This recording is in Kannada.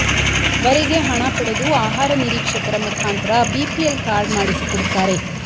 ವರೆಗೆ ಹಣ ಪಡೆದು ಆಹಾರ ನಿರೀಕ್ಷಕರ ಮುಖಾಂತರ ಬಿಪಿಎಲ್ ಕಾರ್ಡ್ ಮಾಡಿಸಿಕೊಡುತ್ತಾರೆ